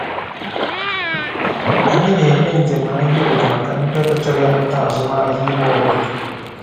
Anyị na-eme njem ahịa obodo maka ndị ọbịa chọrọ ịmata azụmahịa ime obodo.